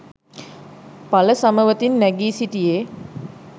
ඵල සමවතින් නැඟී සිටියේ,